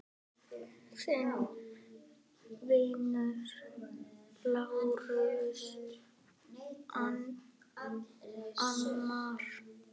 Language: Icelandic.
Þinn vinur, Lárus Arnar.